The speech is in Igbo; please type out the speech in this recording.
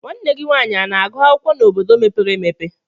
Nwanne gị nwaanyị ana-agụ akwụkwọ na obodo mepere emepe?